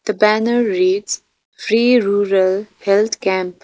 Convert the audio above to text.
the banner reads free rural health camp.